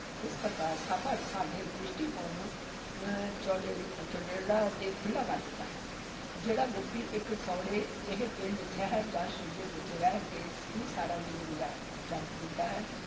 ਇਸ ਪ੍ਰਕਾਰ ਸਫ਼ਰ ਸਾਡੇ ਦ੍ਰਿਸ਼ਟੀਕੋਣ ਨੂੰ ਅਹ ਚੌੜੇ ਚੌੜੇਰਾ ਤੇ ਖੁੱਲ੍ਹਾ ਕਰ ਦਿੰਦਾ ਹੈ, ਜਿਹੜਾ ਵਿਅਕਤੀ ਇਕ ਸੌੜੇ ਜਿਹੇ ਪਿੰਡ, ਸ਼ਹਿਰ ਜਾਂ ਸੂਬੇ ਵਿਚ ਰਹਿ ਕੇ ਹੀ ਸਾਰਾ ਜੀਵਨ ਗੁਜ਼ਾਰ ਜਾ ਦਿੰਦਾ ਹੈ,